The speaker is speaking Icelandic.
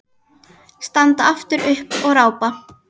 Standa aftur upp og rápa.